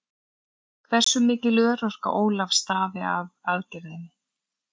Hversu mikil örorka Ólafs stafi af aðgerðinni?